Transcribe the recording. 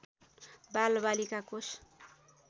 बालबालिका कोष